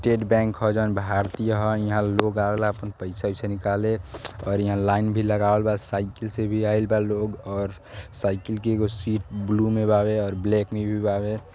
टेट बैंक ह जौन भारतीय ह इहाँ लोग आवेला आपन पईसा ओईसा निकाले और इंहा लाईन भी लगावल बा। साइकिल से भी आइल बा लोग और साइकिल के एगो सीट ब्लू में बावे और ब्लैक में भी बावे।